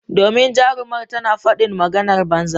Domin jarumar tana fadin maganan banza.